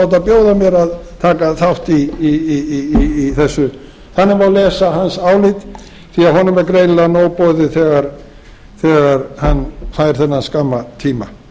láta bjóða mér að taka þátt í þessu þannig má lesa hans álit því að honum var greinilega nóg boðið þegar hann fær þennan skamma tíma við segjum